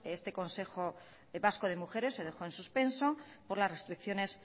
este consejo vasco de mujeres se dejó en suspenso por las restricciones